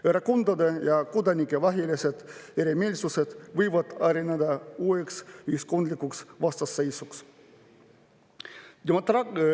Erakondade ja kodanike vahelised erimeelsused võivad areneda uueks ühiskondlikuks vastasseisuks.